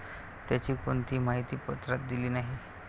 त्याची कोणतीही माहिती पत्रात दिली नाही.